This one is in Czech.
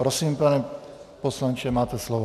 Prosím, pane poslanče, máte slovo.